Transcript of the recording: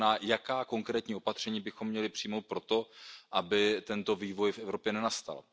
To znamená Jaká konkrétní opatření bychom měli přijmout pro to, aby tento vývoj v Evropě nenastal?